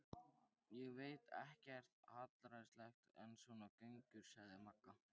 Ég veit ekkert hallærislegra en svona göngur, sagði Magga.